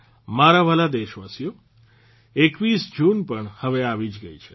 મારા વહાલા દેશવાસીઓ ૨૧ જૂન પણ હવે આવી જ ગઇ છે